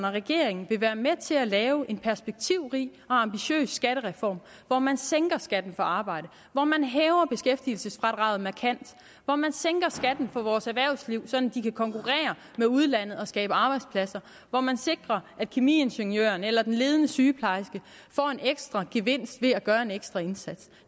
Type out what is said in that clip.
og regeringen vil være med til at lave en perspektivrig og ambitiøs skattereform hvor man sænker skatten på arbejde hvor man hæver beskæftigelsesfradraget markant hvor man sænker skatten på vores erhvervsliv sådan at de kan konkurrere med udlandet og skabe arbejdspladser hvor man sikrer at kemiingeniøren eller den ledende sygeplejerske får en ekstra gevinst ved at gøre en ekstra indsats